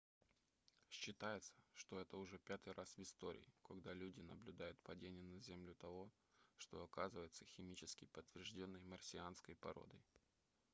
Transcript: считается что это уже пятый раз в истории когда люди наблюдают падение на землю того что оказывается химически подтверждённой марсианской породой